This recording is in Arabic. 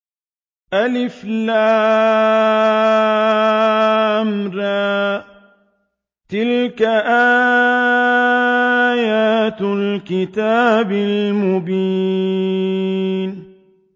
الر ۚ تِلْكَ آيَاتُ الْكِتَابِ الْمُبِينِ